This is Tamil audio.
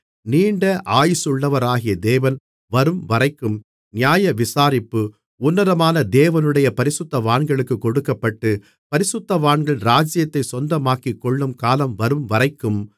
நீண்ட ஆயுசுள்ளவராகிய தேவன் வரும்வரைக்கும் நியாயவிசாரிப்பு உன்னதமான தேவனுடைய பரிசுத்தவான்களுக்குக் கொடுக்கப்பட்டு பரிசுத்தவான்கள் ராஜ்ஜியத்தைச் சொந்தமாக்கிக்கொள்ளும் காலம் வரும்வரைக்கும்